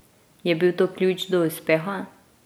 Je bil to ključ do uspeha?